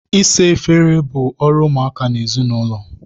Ịsa efere bụ ọrụ ụmụaka n'ezinaụlọ.